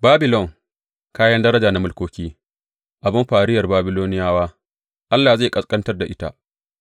Babilon, kayan daraja na mulkoki, abin fariyar Babiloniyawa, Allah zai kaɓantar da ita